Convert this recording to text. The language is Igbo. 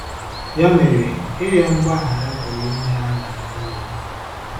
Ya mere, ịrịọ mgbaghara pụrụ inyere anyị aka ime udo.